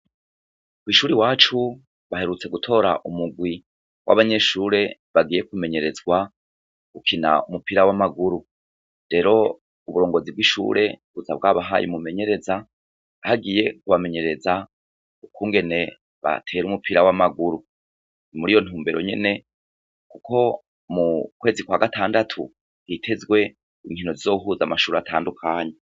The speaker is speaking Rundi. Kw'ishuri wacu baherutse gutora umugwi w'abanyeshure bagiye kumenyerezwa ukina umupira w'amaguru rero uburongozi bw'ishure buza bwabahaye mumenyereza hagiye kubamenyereza ukungene batera umupira w'amaguru ni muri yo ntumbero nyene, kuko mu kwezi kwa gatandatu hitezwe inkino zizohuza amashuri atandukanyu.